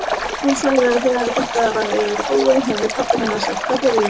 Hún sagði að þegar þetta hefði verið búið hefði pabbi hennar sagt: Hvað gerði ég?